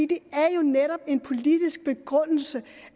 det er jo netop en politisk begrundelse